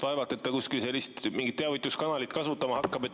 Vaevalt, et ta kuskil mingit sellist teavituskanalit kasutama hakkab.